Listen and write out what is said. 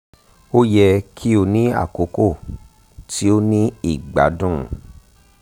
o yẹ ki o ni akoko ti o ni igbadun